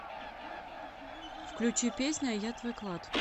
включи песня я твой клад